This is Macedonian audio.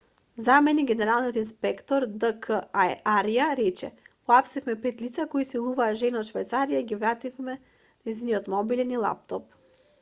заменик генералниот инспектор д к арја рече уапсивме пет лица кои силуваа жена од швајцарија и ги вративме нејзиниот мобилен и лаптоп